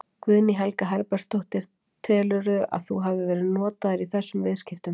Guðný Helga Herbertsdóttir: Telurðu að þú hafi verið notaður í þessum viðskiptum?